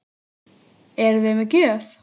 Eruði með gjöf?